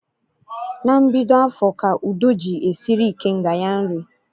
Na mbido afọ ka Udo ji esiri ikenga ya nri